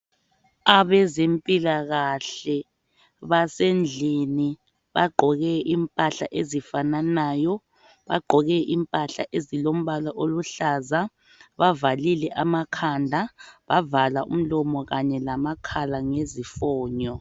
Abezempilakahle basendlini bagqoke impahla ezifananayo bagqoke impahla ezilombala oluhlaza bavallile amakhanda bavala umlomo kanye lamakhala ngezifonyo.